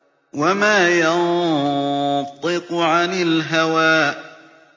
وَمَا يَنطِقُ عَنِ الْهَوَىٰ